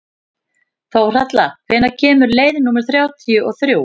Þórhalla, hvenær kemur leið númer þrjátíu og þrjú?